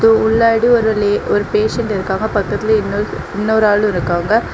உள்லாடி ஒரு லே ஒரு பேஷன்ட் இருக்காங்க பக்கத்துல இன்னொரு இன்னொரு ஆளு இருக்காங்க.